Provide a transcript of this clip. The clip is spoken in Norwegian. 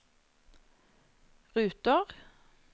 ruter